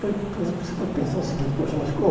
foi, por exemplo, Você pode pensar o seguinte, poxa, mas como?